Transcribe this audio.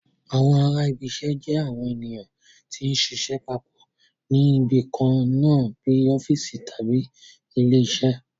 Àwọn ará ibi iṣẹ́ jẹ́ àwọn ènìyàn tí ń ṣiṣẹ́ papọ̀ ní ibi kan náà bíi ọ́fíìsì tàbí ilé iṣẹ́